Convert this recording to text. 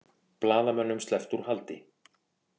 Blaðamönnum sleppt úr haldi